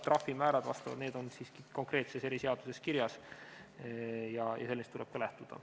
Trahvimäärad on siiski konkreetses eriseaduses kirjas ja sellest tuleb ka lähtuda.